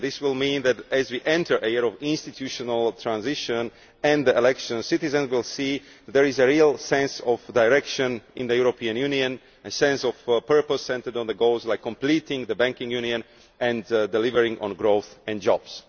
This will mean that, as we enter a year of institutional transition and elections, citizens will see that there is a real sense of direction in the European Union, a sense of purpose centred on the goals of completing the banking union and delivering on growth and jobs.